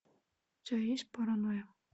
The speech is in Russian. у тебя есть паранойя